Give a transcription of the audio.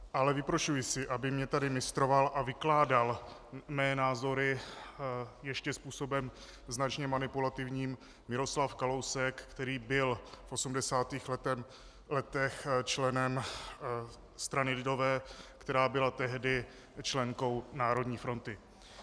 Ale vyprošuji si, aby mě tady mistroval a vykládal mé názory, ještě způsobem značně manipulativním, Miroslav Kalousek, který byl v 80. letech členem strany lidové, která byla tehdy členkou Národní fronty.